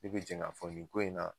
I bɛ jɛn k'a fɔ nin ko in na